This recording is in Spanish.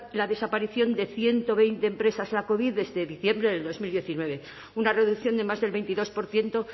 la desaparición de ciento veinte empresas la covid desde diciembre de dos mil diecinueve una reducción de más del veintidós por ciento